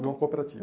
De uma cooperativa.